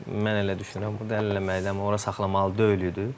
Mən elə düşünürəm, burda həll eləməli idi, amma ora saxlamalı deyildi.